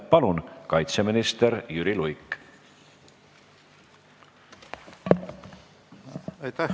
Palun, kaitseminister Jüri Luik!